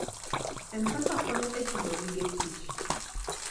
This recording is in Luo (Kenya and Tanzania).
M-Pesa konyo e chulo gige tich.